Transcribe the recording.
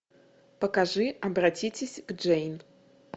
покажи обратитесь к джейн